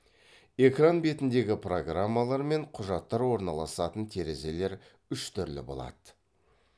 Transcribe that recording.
экран бетіндегі программалар мен құжаттар орналасатын терезелер үш түрлі болады